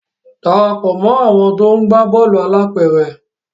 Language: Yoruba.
darapọ̀ mọ àwọn to ńgba Bọ́ọ̀lù alápéré!